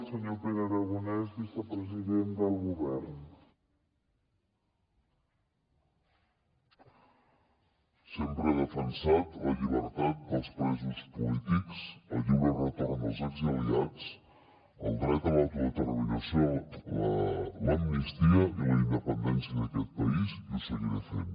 sempre he defensat la llibertat dels presos polítics el lliure retorn dels exiliats el dret a l’autodeterminació l’amnistia i la independència d’aquest país i ho seguiré fent